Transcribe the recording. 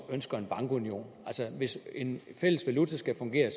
ønsker en bankunion altså hvis en fælles valuta skal fungere